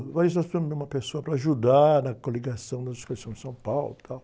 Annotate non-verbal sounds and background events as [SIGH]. [UNINTELLIGIBLE] nós precisamos de uma pessoa para ajudar na coligação da [UNINTELLIGIBLE] em São Paulo, tal.